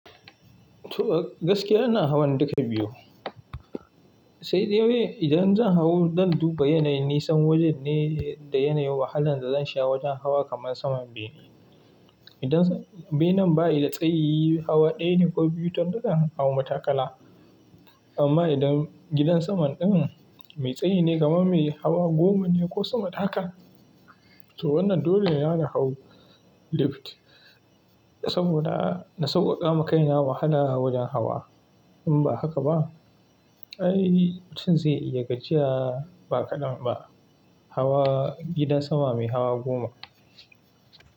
To gaskiya ina hawan duka biyu. Sai dai idan zan hau don duba yanayin nisan wajen ne da yanayin wahalan da zan sha wajen hawa kamar saman bene. Idan benen ba yi da tsayi, hawa ɗaya ne ko biyu, zan haw na matakala. Amma idan gidan saman ɗin mai tsayi ne kamar mai hawa goma ne ko sama haka, to wannan dole yana da hau lift. Saboda na sauƙaƙa ma kaina wahala a wajen hawa. In ba haka ba, ai mutum zai iya gajiya ba kaɗan ba. Hawa gidan sama mai hawa goma.